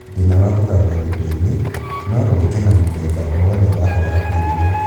Thĩna wa kũgamba gũtũ-inĩ no ũke na mũthemba o wothe wa kwaga kũigua